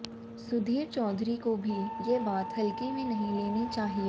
सुधीर चौधरी को भी ये बात हल्के में नहीं लेनी चाहिये